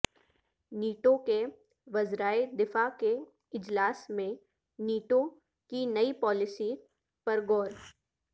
NATO کے وزرائے دفاع کے اجلاس میں نیٹو کی نئی پالیسی پر غور